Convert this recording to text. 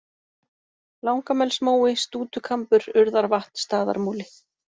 Langamelsmói, Stútukambur, Urðarvatn, Staðarmúli